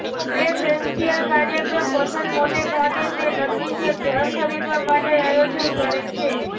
preferential કાર્યક્રમ પસંદ મોટે ભાગે તે નક્કી જે ઘર ખરીદવા માટે આયોજન કરે છે